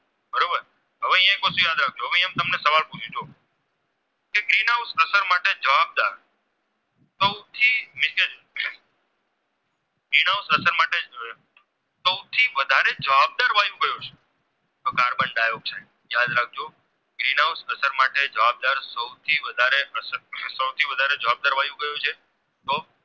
યાદ રાખજો Green House અસર માટે સૌથી વધારે જવાબદાર કયું છે